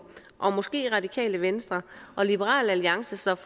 og måske radikale venstre og liberal alliance står